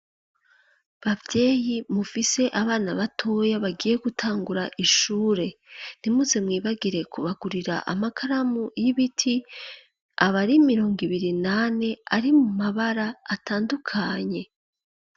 Bavyeyi mufise abana batoya bagiye gutangura ishure ntimuze mwibagire kubagurira amakaramu y'ibiti abari mirongo ibiri nane ari mu mabara atandukanye.